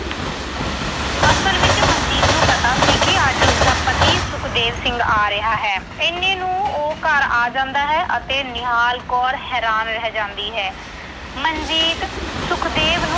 ਅਸਲ ਵਿੱਚ ਮਨਜੀਤ ਨੂੰ ਪਤਾ ਸੀ ਕਿ ਅੱਜ ਉਸਦਾ ਪਤੀ ਸੁਖਦੇਵ ਸਿੰਘ ਆ ਰਿਹਾ ਹੈ। ਇੰਨੇ ਨੂੰ ਉਹ ਘਰ ਆ ਜਾਂਦਾ ਹੈ ਅਤੇ ਨਿਹਾਲ ਕੌਰ ਹੈਰਾਨ ਰਹਿ ਜਾਂਦੀ ਹੈ। ਮਨਜੀਤ ਸੁਖਦੇਵ